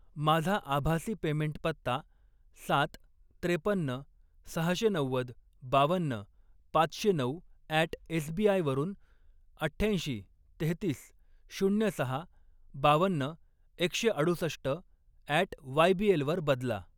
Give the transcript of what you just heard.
माझा आभासी पेमेंट पत्ता सात, त्रेपन्न, सहाशे नव्वद, बावन्न, पाचशे नऊ अॅट एसबीआय वरून अठ्ठ्याऐंशी, तेहतीस, शून्य सहा, बावन्न, एकशे अडुसष्ट अॅट वायबीएल वर बदला